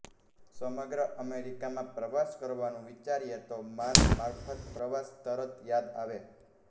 સમગ્ર અમેરિકામાં પ્રવાસ કરવાનું વિચારીએ તો માર્ગ મારફત પ્રવાસ તરત યાદ આવે